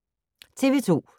TV 2